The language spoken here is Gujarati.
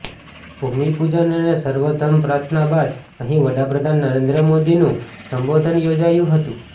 ભૂમિપૂજન અને સર્વધર્મ પ્રાર્થના બાદ અહીં વડા પ્રધાન નરેન્દ્ર મોદીનું સંબોધન યોજાયું હતું